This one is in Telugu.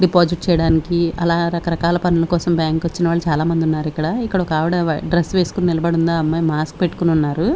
డిపాసిట్ చేయడానికి అలా రకరకాల పనుల కోసం బ్యాంకు కు వచ్చిన వాళ్ళు చాలా మంది ఉన్నారు ఇక్కడ ఇక్కడ ఒక్క ఆవిడా డ్రెస్ వేసుకొని నిలబడి ఉంది ఆ అమ్మాయి మాస్క్ పెట్టుకొని ఉన్నారు .